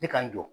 Ne ka nto